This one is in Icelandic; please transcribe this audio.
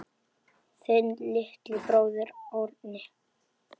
Þinn litli bróðir, Árni.